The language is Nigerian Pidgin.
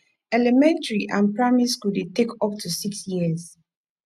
elementary or primary school de take up to six years